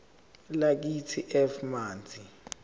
lakithi f manzi